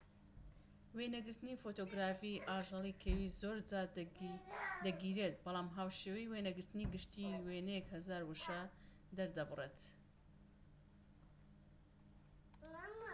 وێنەگرتنی فۆتۆگرافی ئاژەڵی کێوی زۆرجار دەگیرێت بەڵام هاوشێوەی وێنەگرتنی گشتی وێنەیەک هەزار وشە دەردەبڕێت